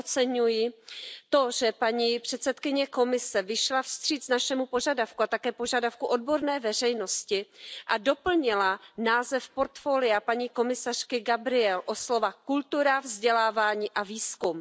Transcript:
Velmi oceňuji to, že paní předsedkyně Komise vyšla vstříc našemu požadavku a také požadavku odborné veřejnosti a doplnila název portfolia paní komisařky Gabrielové o slova kultura, vzdělávání a výzkum.